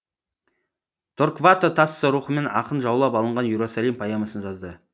торквато тассо рухымен ақын жаулап алынған иерусалим поэмасын жазды